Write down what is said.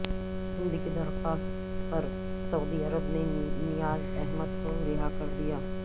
ہند کی درخواست پر سعودی عرب نے نیاز احمد کو رہا کر دیا